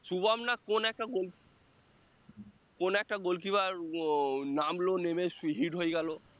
শুভম না কোন একটা কোন একটা gol keeper নামলো নেমে হয়ে গেলো